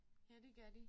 Ja det gør de